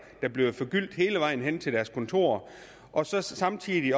der bliver forgyldt hele vejen hen til deres kontorer og så samtidig